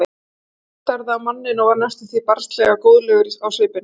Konungur starði á manninn og varð næstum því barnslega góðlegur á svipinn.